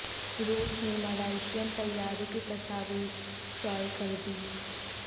روس نے ملائشئین طیارے کی تصاویر شائع کر دیں